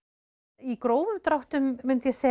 í grófum dráttum myndi ég segja